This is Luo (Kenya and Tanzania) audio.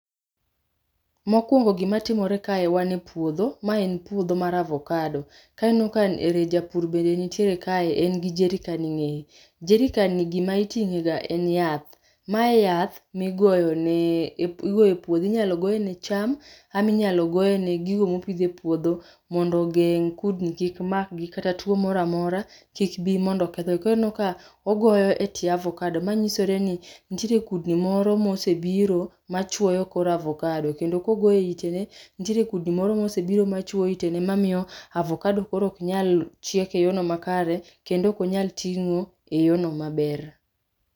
Mokwongo gima timore kae wan e pwodho, maen pwodho mar avokado. Kae ineno kaen ere japur bende ntiere kae en gi jerican e ng'eye. Jerican ni gima iting'ega en yath. Mae yath migoyo ne e pu igoe pudho inyalo goe ne cham, ama inyalo goe ne gigo mopidh e pwodho mondo geng' kudni kik makgi kata two moramora kik bii mondo kethgi. Korineno ka ogoyo e tye avokado manyisore nintiere kudni moro mosebiro machwoyo kor avokado kendo kogoe itene, ntiere kudni moro mosebiro machwoyo itene mamiyo avakado koro oknyal chiek e yoo no makare, kendo okonyal ting'o e yoono maber.